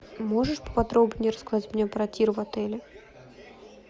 можешь поподробнее рассказать мне про тир в отеле